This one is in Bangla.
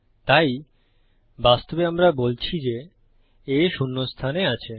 তাই বাস্তবে আমরা বলছি যে A শূন্য স্থানে আছে